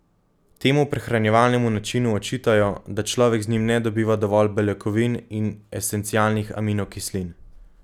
Temu prehranjevalnemu načinu očitajo, da človek z njim ne dobiva dovolj beljakovin in esencialnih aminokislin.